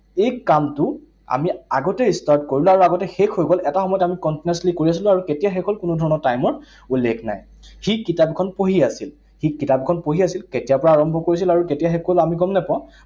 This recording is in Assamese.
এই কামটো আমি আগতেই start কৰিলো আৰু আগতেই শেষ হৈ গল। এটা সময়ত আমি continuously কৰি আছিলো আৰু কেতিয়া শেষ হল, কোনো ধৰণৰ time ৰ উল্লেখ নাই। সি কিতাপখন পঢ়ি আছিল। সি কিতাপখন পঢ়ি আছিল, কেতিয়াৰ পৰা আৰম্ভ কৰিছিল আৰু কেতিয়া শেষ কৰিছিল আমি গম নাপাওঁ।